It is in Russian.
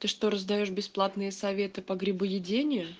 ты что раздают бесплатные советы по грибоедению